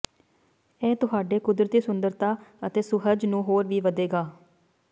ਇਹ ਤੁਹਾਡੇ ਕੁਦਰਤੀ ਸੁੰਦਰਤਾ ਅਤੇ ਸੁਹਜ ਨੂੰ ਹੋਰ ਵੀ ਵਧੇਗਾ